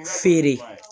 Feere